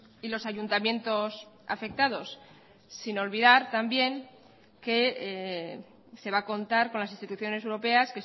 y los ayuntamientos afectados sin olvidar también que se va a contar con las instituciones europeas